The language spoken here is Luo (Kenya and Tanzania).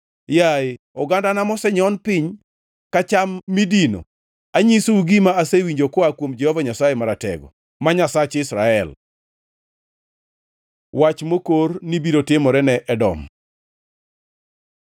Yaye ogandana mosenyon piny ka cham midino anyisou gima asewinjo koa kuom Jehova Nyasaye Maratego, ma Nyasach Israel. Wach mokor ni biro timore ne Edom